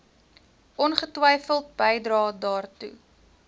ongetwyfeld bydrae daartoe